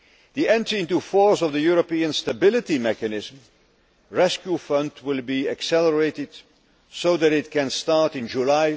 The entry into force of the European Stability Mechanism rescue fund will be accelerated so that it can start in July